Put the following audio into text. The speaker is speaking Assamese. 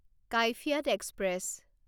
কাইফিয়াত এক্সপ্ৰেছ